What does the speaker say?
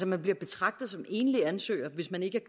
man bliver betragtet som enlig ansøger hvis man ikke